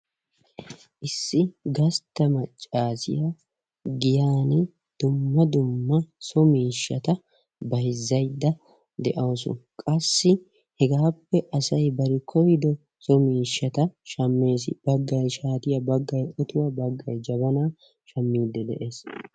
Issi gastta maccaassiya giyaan dumma dumma so miishshata bayzzayda de'awusu. Qassi hegaappe asay bari koyido so miishshata shammees. Baggay shaatiya, baggay otuwa, baggay jabanaa, shammiiddi de'ees.